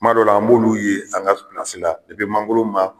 Kuma dɔw la an b'olu ye an ka mangoro ma